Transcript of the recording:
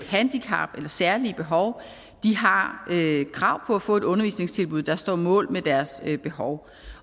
handicap eller særlige behov har krav på at få et undervisningstilbud der står mål med deres behov